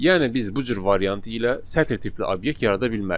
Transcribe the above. Yəni biz bu cür variant ilə sətir tipli obyekt yarada bilmərik.